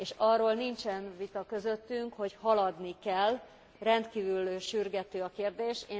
Arról nincsen vita közöttünk, hogy haladni kell, rendkívül sürgető a kérdés.